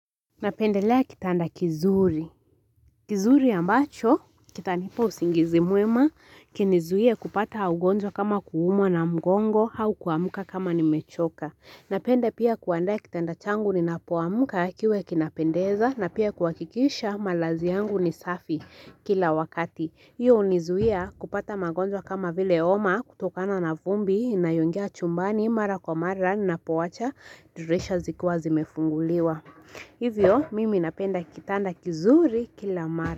Napendelea kitanda kizuri. Kizuri ambacho, kitanipa usingizi mwema, kinizuie kupata ugonjwa kama kuumwa na mgongo, au kuamka kama ni mechoka. Napenda pia kuandaa kitanda changu ninapoamka kiwe kinapendeza, na pia kuhakikisha malazi yangu ni safi kila wakati. Hiyo hunizuia kupata magonjwa kama vile homa kutokana na vumbi, inayongia chumbani, mara kwa mara, ninapoacha, dirisha zikiwa zimefunguliwa. Hivyo mimi napenda kitanda kizuri kila mara.